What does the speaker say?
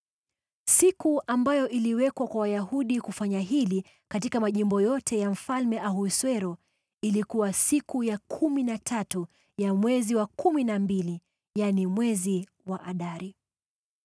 Siku ambayo iliwekwa kwa Wayahudi kufanya hili katika majimbo yote ya Mfalme Ahasuero ilikuwa siku ya kumi na tatu ya mwezi wa kumi na mbili, yaani mwezi wa Adari.